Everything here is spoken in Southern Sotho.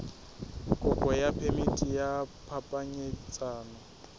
kopo ya phemiti ya phapanyetsano